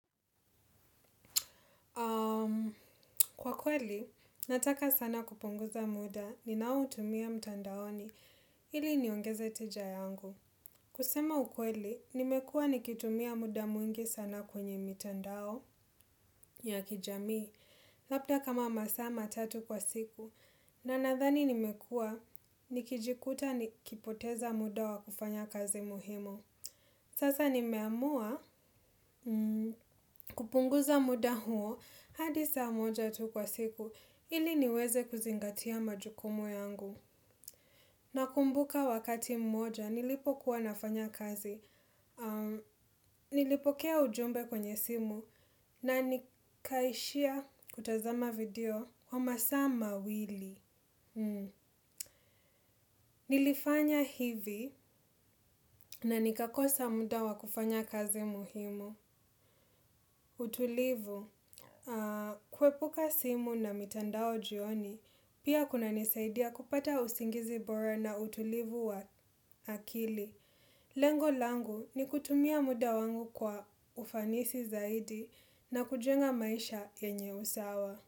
Kwa kweli, nataka sana kupunguza muda ni nao utumia mtandaoni ili niongeze tija yangu. Kusema ukweli, nimekuwa nikitumia muda mwingi sana kwenye mitandao ya kijamii, labda kama masaa ma tatu kwa siku, na nadhani nimekuwa nikijikuta nikipoteza muda wa kufanya kazi muhimu. Sasa nimeamua kupunguza muda huo hadi saa moja tu kwa siku ili niweze kuzingatia majukumu yangu. Na kumbuka wakati mmoja nilipo kuwanafanya kazi, nilipokea ujumbe kwenye simu na nikaishia kutazama video kwa masaa mawili. Nilifanya hivi na nikakosa muda wa kufanya kazi muhimu. Utulivu. Kue puka simu na mitandao jioni. Pia kuna nisaidia kupata usingizi bora na utulivu wa akili. Lengo langu ni kutumia muda wangu kwa ufanisi zaidi. Na kujenga maisha yenye usawa.